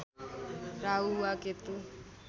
राहु वा केतु